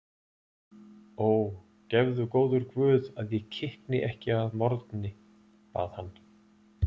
Ó, gefðu góður Guð að ég kikni ekki að morgni, bað hann.